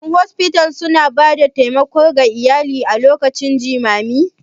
Shin Hospices suna ba da taimako ga iyalai a lokacin jimami?